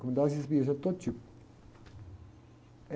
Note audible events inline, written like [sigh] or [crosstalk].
Comunidades [unintelligible] de todo tipo.